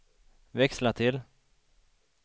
växla till